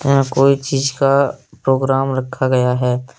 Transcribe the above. यहाँ कोई चीज का प्रोग्राम रखा गया है।